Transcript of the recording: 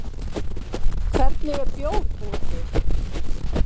Hvernig er bjór búinn til?